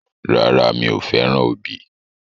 Rárá, mi ò fẹ́ràn obì.